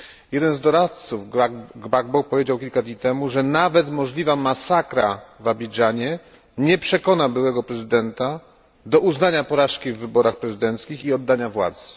Jeden z doradców Gbagbo powiedział kilka dni temu, że nawet możliwa masakra w Abidżanie nie przekona byłego prezydenta do uznania porażki w wyborach prezydenckich i oddania władzy.